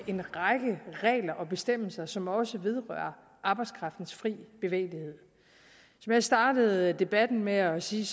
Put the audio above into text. en række regler og bestemmelser som også vedrører arbejdskraftens frie bevægelighed som jeg startede debatten med at sige